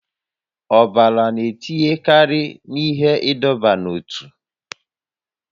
Ọbara na-etinyekarị n'ihe ịdọba n'ótú